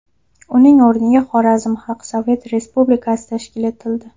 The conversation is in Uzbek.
Uning o‘rniga Xorazm Xalq Sovet Respublikasi tashkil etildi.